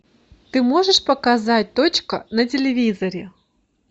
ты можешь показать точка на телевизоре